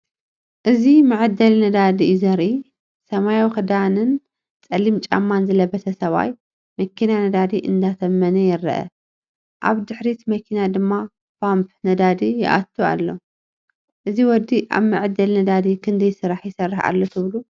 እዚ መዐደሊ ነዳዲ እዩ ዘርኢ። ሰማያዊ ክዳን ጸሊም ጫማን ዝለበሰ ሰብኣይ መኪና ነዳዲ እንዳተመነ ይረአ፡ ኣብ ድሕሪት መኪና ድማ ፓምፕ ነዳዲ ይእቱ ኣሎ። እዚ ወዲ ኣብ መዐደሊ ነዳዲ ክንደይ ስራሕ ይሰርሕ ኣሎ ትብሉ?